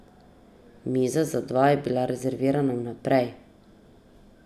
Miza za dva je bila rezervirana vnaprej.